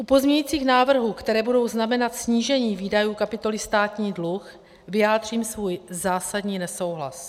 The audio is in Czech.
U pozměňujících návrhů, které budou znamenat snížení výdajů kapitoly státní dluh, vyjádřím svůj zásadní nesouhlas.